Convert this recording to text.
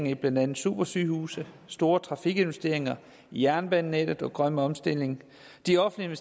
i blandt andet supersygehuse store trafikinvesteringer i jernbanenettet og grøn omstilling de offentlige